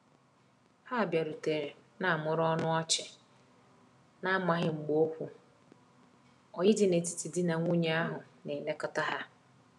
Ha biarutere na mụrụ ọnụ ọchi, na amaghi mgba okwu oyi di na etiti di na nwunye ahu na elekota ha